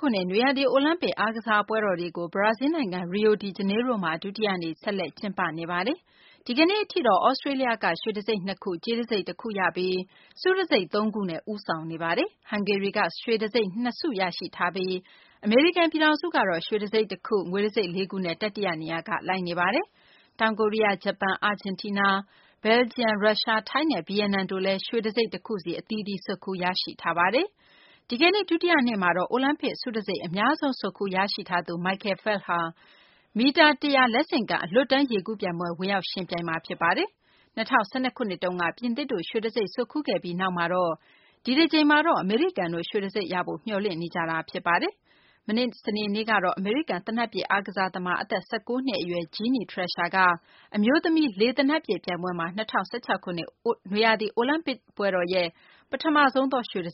ခုနှစ် နွေရာသီ အိုလံပစ် အားကစားပွဲတွေကို ဘရာဇီးလ်နိုင်ငံ ရီယိုဒီဂျနေရိုးမှာ ဒုတိယနေ့ ဆက်လက် ကျင်းပနေပါတယ်။ ဒီကနေ့အထိတော့ သြစတေးလျက ရွှေတံဆိပ် ၂ ခု၊ ကြေးတံဆိပ် တခုရပြီး ဆုတံဆိပ် သုံးခုနဲ့ ဦးဆောင်နေပါတယ်။ ဟန်ဂေရီက ရွှေတံဆိပ် ၂ ခု ရရှိထားပြီး အမေရိကန်ပြည်ထောင်စုကတော့ ရွှေတံဆိပ် ၁ ခု၊ ငွေ တံဆိပ် ၄ ခုနဲ့ တတိယနေရာကနေ လိုက်နေပါတယ်။ တောင်ကိုရီးယား၊ ဂျပန်၊ အာဂျင်တီးနား၊ ဘယ်လ်ဂျီယံ၊ ရုရှား၊ ထိုင်းနဲ့ ဗီယက်နမ်တို့လည်း ရွှေတံဆိပ် ၁ ခုဆီ ဆွတ်ခူးရရှိထားပါတယ်။ ဒီကနေ့ ဒုတိယနေ့မှာတော့ အိုလံပစ်ဆုတံဆိပ် အများဆုံး ဆွတ်ခူးရရှိထားသူ Michael Phelps မီတာ ၁၀၀ လက်ဆင့်ကမ်း အလွတ်တန်း ရေကူးပြိုင်ပွဲမှာ ဝင်ရောက်ယှဉ်ပြိုင်မှာ ဖြစ်ပါတယ်။ ၂၀၁၂ ခုနှစ်တုန်းက ပြင်သစ်တို့ ရွှေတံဆိပ် ဆွတ်ခူးခဲ့ပြီးနောက် ဒီတကြိမ်မှာတော့ အမေရိကန်တို့ ရွှေတံဆိပ်ရဖို့ မျှော်လင့်နေ ကြပါတယ်။ မနေ့ စနေနေ့တုန်းကတော့ အမေရိကန် သေနတ်ပစ် အားကစားသမား အသက် ၁၉ နှစ်အရွယ် Ginny Thrasher က အမျိုးသမီး လေသေနတ်ပစ်ပြိုင်ပွဲမှာ ၂၀၁၆ ခုနှစ် နွေရာသီ အိုလံပစ်ပွဲတော်ရဲ့ ပထမဆုံးသော ရွှေတ